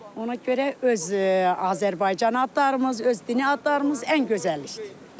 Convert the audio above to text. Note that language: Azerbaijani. Ona görə öz Azərbaycan adlarımız, öz dini adlarımız ən gözəlidir.